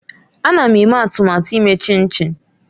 Ana m eme atụmatụ ime chinchi